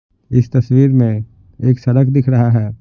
इस तस्वीर में एक सड़क दिख रहा है।